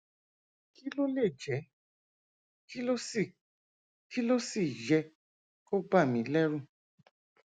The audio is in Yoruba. kí ló lè jẹ kí ló sì kí ló sì yẹ kó bà mí lẹrù